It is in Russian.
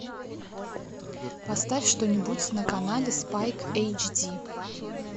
поставь что нибудь на канале спайк эйч ди